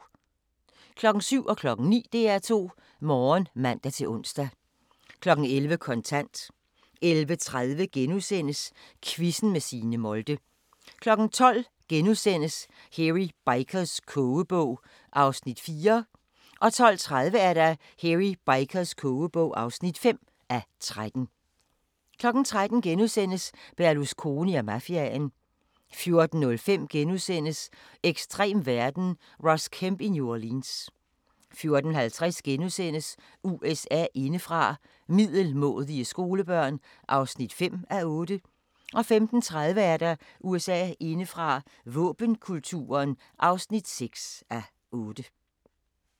07:00: DR2 Morgen (man-ons) 09:00: DR2 Morgen (man-ons) 11:00: Kontant 11:30: Quizzen med Signe Molde * 12:00: Hairy Bikers kogebog (4:13)* 12:30: Hairy Bikers kogebog (5:13) 13:00: Berlusconi og mafiaen * 14:05: Ekstrem verden – Ross Kemp i New Orleans * 14:50: USA indefra: Middelmådige skolebørn (5:8)* 15:30: USA indefra: Våbenkulturen (6:8)